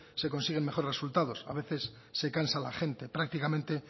se consiguen mejores resultados a veces se cansa la gente prácticamente